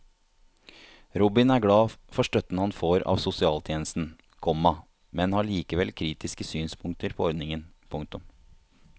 Robin er glad for støtten han har fått av sosialtjenesten, komma men har likevel kritiske synspunkter på ordningen. punktum